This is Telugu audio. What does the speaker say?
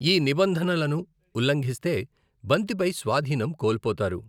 ఈ నిబంధనలను ఉల్లంఘిస్తే బంతిపై స్వాధీనం కోల్పోతారు.